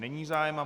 Není zájem.